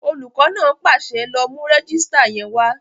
Olùkọ́ náà pàṣẹ, "lọ mú rẹ́jísítà yẹn wá!"